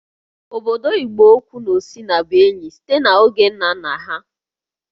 Obodo Igboukwu na Osina bụ enyi site n'oge ndị nna nna ha